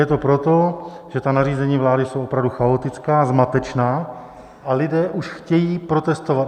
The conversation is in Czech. Je to proto, že ta nařízení vlády jsou opravdu chaotická, zmatečná, a lidé už chtějí protestovat.